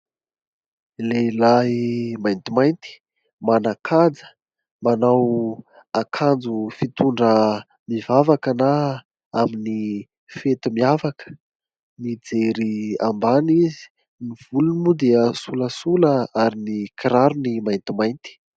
Lehilahy maintimainty, manan-kaja, manao akanjo fitondra mivavaka na amin'ny fety miavaka. Mijery ambany izy. Ny volony moa dia solasola ary ny kirarony maintimainty.